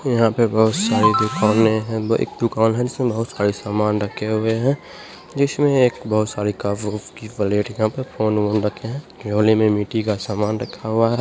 यहाँ पे बहुत सारी दुकाने हैं एक दुकान है जिसमें बहुत सारी समान रखे हुए है जिसमें एक बहुत सारी कप - उप की प्लेटियाँ पर फ़ोन ओन रखे है कोने में मिट्टी का समान रखा हुआ है।